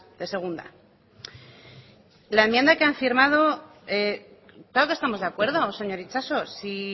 de segunda con la enmienda que han firmado claro que estamos de acuerdo señor itxaso si